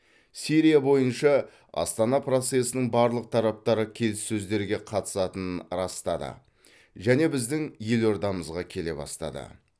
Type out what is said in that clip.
сирия бойынша астана процесінің барлық тараптары келіссөздерге қатысатынын растады және біздің елордамызға келе бастады